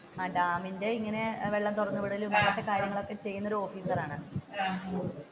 ആഹ് ഡാമിന്റെ ഈ ഇങ്ങനെ വെള്ളം തുറന്നുവിടലും കാര്യങ്ങൾ ഒക്കെ ചെയുന്ന ഓഫീസർ ആണ്.